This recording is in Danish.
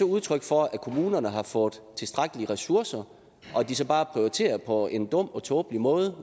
udtryk for at kommunerne har fået tilstrækkelige ressourcer og de så bare prioriterer på en dum og tåbelig måde